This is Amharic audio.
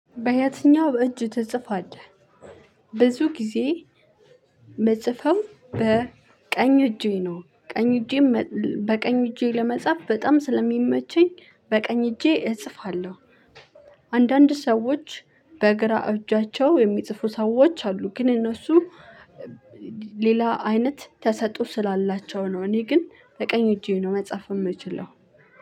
በየትኛው እጅ ትጽፋለህ? ብዙ ጊዜ ምጽፈው በ ቀኝ እጄ ነው ቀኝ እጄ በቀኝ እጄ ለመጻፍ በጣም ስለሚመቸኝ በቀኝ እጄ እጽፋለሁ። አንዳንድ ሰዎች በግራ እጃቸው የሚጽፉ ሰዎች አሉ። ግን እነሱ ሌላ አይነት ተሰጥኦ ስላላቸው ነው። እኔ ግን በቀኝ እጄ ነው መጽሐፍ የምችለው።